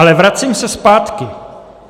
Ale vracím se zpátky.